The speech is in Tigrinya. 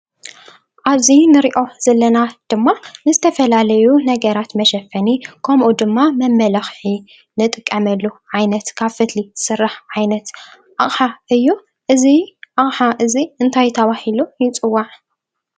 ኣብዚ እንሪኦ ዘለና ድማ ንዝተፈላለዩ ነገራት መሸፈኒ ከምኡ ድማ መመላክዒ እንጥቀመሉ ዓይነት ካብ ፈትሊ ዝስራሕ ዓይነት ኣቕሓ እዩ። እዚ ኣቕሓ እዙይ እንታይ ተባሂሉ ይፅዋዕ?